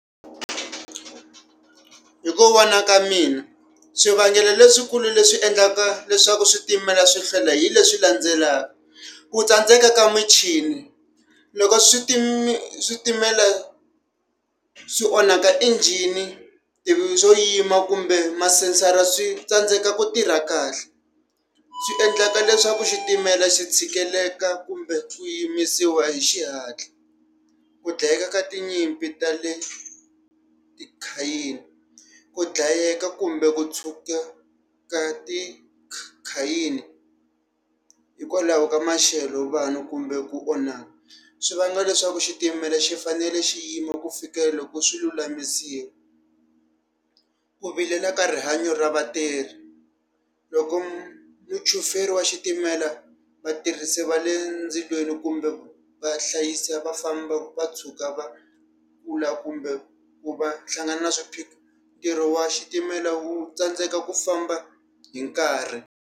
Hi ku vona ka mina, swivangelo leswikulu leswi endlaka leswaku switimela swi hlwela hi leswi landzelaka, ku tsandzeka ka muchini. Loko switi switimela swi onhaka injhini swo yima kumbe masensara swi tsandzeka ku tirha kahle. Swi endleka leswaku xitimela xi tshikeleleka kumbe yimisiwa hi xihatla. Ku dlayeka ka tinyimpi tale . Ku dlayeka kumbe ku tshuka ka ti khayini hikwalaho ka maxelo vanhu kumbe ku onhaka, swi vanga leswaku xitimela xi fanele xi yima ku fikela loko swi lulamisiwa. Ku vilela ka rihanyo ra vatirhi. Loko muchuferi wa xitimela vatirhisi va le ndzilweni kumbe va hlayisa va famba va tshuka va kumbe ku va hlangana na swiphiqo, ntirho wa xitimela wu tsandzeka ku famba hi nkarhi.